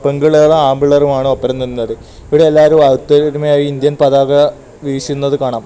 പെമ്പിള്ളാരും ആമ്പിള്ളേരും ആണ് ഒപ്പരം നിന്നത് ഇവിടെ എല്ലാവരും അ ഒത്തൊരുമയായി ഇന്ത്യൻ പതാക വീശുന്നത് കാണാം.